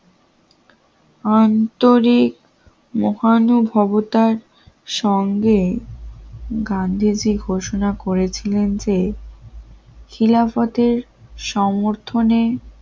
আন্তরিক মহানুভবতার সঙ্গে গান্ধীজি ঘোষণা করেছিলেন যে খিলাফতের সমর্থনে